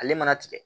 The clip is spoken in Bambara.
Ale mana tigɛ